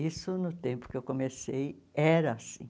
Isso, no tempo que eu comecei, era assim.